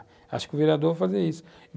Acho que o vereador vai fazer isso.